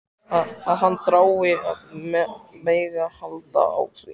Að hann þrái að mega halda á því.